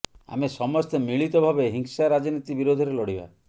ଆମେ ସମସ୍ତେ ମିଳିତ ଭାବେ ହିଂସା ରାଜନୀତି ବିରୋଧରେ ଲଢ଼ିବା